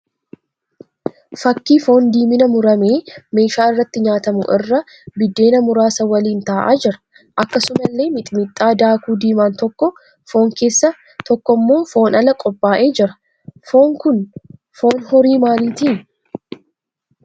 Fakkii foon diimina mumuramee meeshaa irratti nyaatamu irra biddeena muraasaa waliin ta'aa jira. Akkasumallee miximixi daakuu diimaan tokko foon keessa tokkommoo foon ala qophaa'ee jira. Foonni kun foon horii maaliiti?